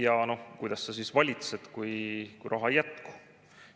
Aga kuidas sa valitsed, kui raha ei jätku?